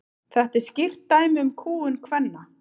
þetta er skýrt dæmi um kúgun kvenna